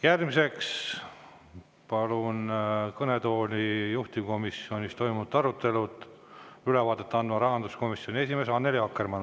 Järgmiseks palun kõnetooli juhtivkomisjonis toimunud arutelust ülevaadet andma rahanduskomisjoni esimehe Annely Akkermanni.